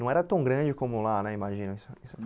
Não era tão grande como lá, né, imagino? Isso isso